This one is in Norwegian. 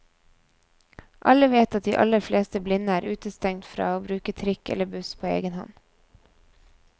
Alle vet at de aller fleste blinde er utestengt fra å bruke trikk eller buss på egen hånd.